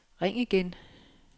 ring igen